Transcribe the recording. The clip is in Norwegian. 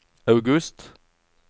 august